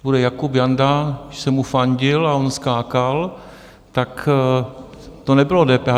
Když bude Jakub Janda, když jsem mu fandil a on skákal, tak to nebylo DPH.